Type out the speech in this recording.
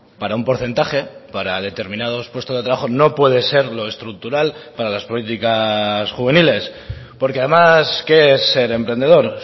para un porcentaje para determinados puestos de trabajo no puede ser lo estructural para las políticas juveniles porque además qué es ser emprendedor